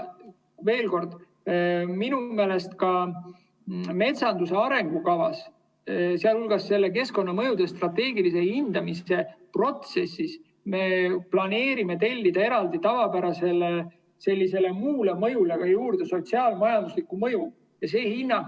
Veel kord: minu meelest ka metsanduse arengukava jaoks, sealhulgas keskkonnamõjude strateegilise hindamise protsessis, me planeerime tellida lisaks tavapärasele muu mõju analüüsile juurde sotsiaal-majandusliku mõju hinnangu.